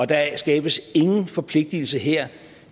der skabes ingen forpligtelse her